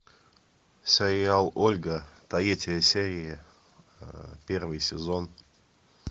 сериал ольга третья серия первый сезон